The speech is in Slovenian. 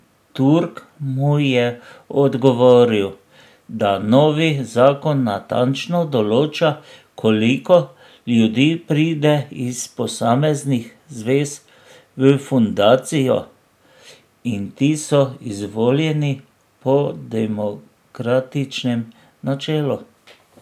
Turk mu je odgovoril, da novi zakon natančno določa, koliko ljudi pride iz posameznih zvez v fundacijo, in ti so izvoljeni po demokratičnem načelu.